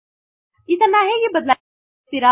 ಇದನ್ನು ಹೇಗೆ ಬದಲಿಸುತ್ತಿರ